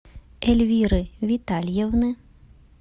эльвиры витальевны